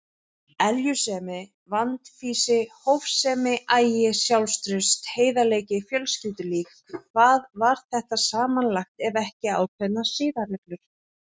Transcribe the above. Eljusemi, vandfýsi, hófsemi, agi, sjálfstraust, heiðarleiki, fjölskyldulíf: hvað var þetta samanlagt ef ekki ákveðnar siðareglur?